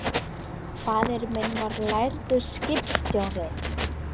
Faðir minn var lærður skipstjóri.